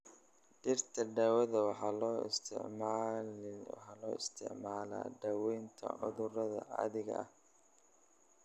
Dhirta daawada waxaa loo isticmaalaa daaweynta cudurada caadiga ah.